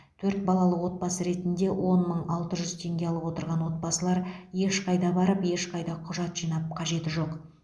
төрт балалы отбасы ретінде он мың алты жүз теңге алып отырған отбасылар ешқайда барып ешқайда құжат жинап қажет жоқ